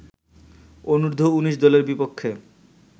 অনূর্ধ্ব-১৯ দলের বিপক্ষে